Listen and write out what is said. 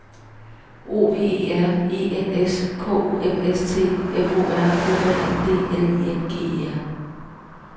O V E R E N S K O M S T F O R H A N D L I N G E R